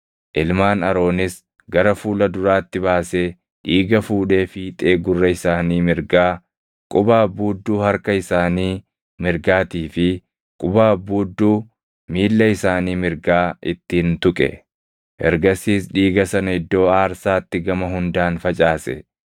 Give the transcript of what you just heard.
Ilmaan Aroonis gara fuula duraatti baasee dhiiga fuudhee fiixee gurra isaanii mirgaa, quba abbuudduu harka isaanii mirgaatii fi quba abbuudduu miilla isaanii mirgaa ittiin tuqe. Ergasiis dhiiga sana iddoo aarsaatti gama hundaan facaase.